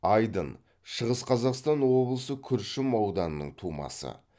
айдын шығыс қазақстан облысы күршім ауданының тумасы